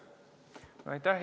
Aitäh!